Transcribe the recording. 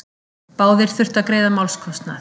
Báðir þurftu að greiða málskostnað.